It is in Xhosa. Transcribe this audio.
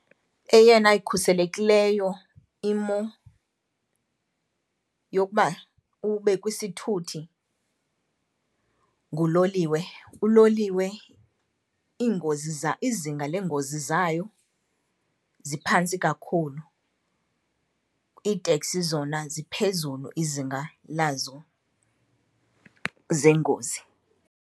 Eyona ikhuselekileyo imo yokuba ube kwisithuthi nguloliwe. Uloliwe iingozi izinga leengozi zayo ziphantsi kakhulu, iiteksi zona ziphezulu izinga lazo zengozi.